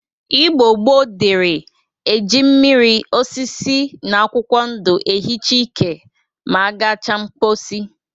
Igbo gboo dịri e ji mmiri, osisi, na akwụkwọ ndụ ehicha ike ma agacha mposi.